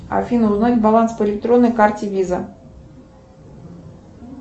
афина узнать баланс по электронной карте виза